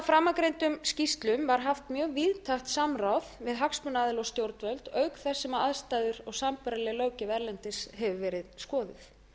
framangreindum skýrslum var haft mjög víðtækt samráð við hagsmunaaðila og stjórnvöld auk þess sem aðstæður og sambærileg löggjöf erlendis hefur verið skoðuð